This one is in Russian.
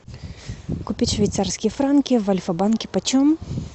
купить швейцарские франки в альфа банке почем